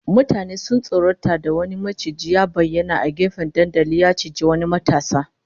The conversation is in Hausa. Mutane sun tsorata da wani maciji ya bayyana a gefen dandalin, ya ciji wani matashi